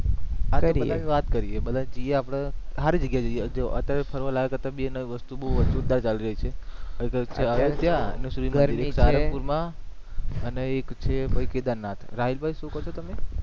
અરે બધા થી વાત કરીએ બધા જઈએ આપણે હારી જગ્યા જઈએ જો અત્યારે ફરવા લાયક બે નવી વસ્તુ આવી રહી છે સાંરગપુર મા અને એક છે ભાઈ કેદારનાથ રાહિલ ભાઈ શુ કહો છો તમે